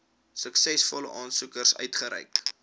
suksesvolle aansoekers uitgereik